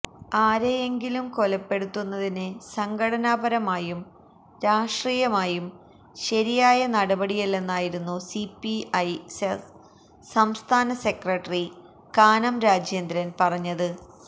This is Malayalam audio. ആരെയെങ്കിലും കൊലപ്പെടുത്തുന്നത് സംഘടനാ പരമായും രാഷ്ട്രീയമായും ശരിയായ നടപടിയല്ലെന്നായിരുന്നു സിപിഐ സംസ്ഥാന സെക്രട്ടറി കാനം രാജേന്ദ്രൻ പറഞ്ഞത്